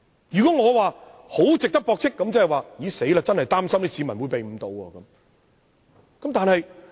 如果說他十分值得駁斥，即是說我真的擔心市民會被他誤導。